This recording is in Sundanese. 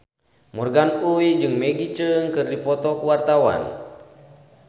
Morgan Oey jeung Maggie Cheung keur dipoto ku wartawan